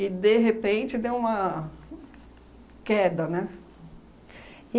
E, de repente, deu uma queda, né?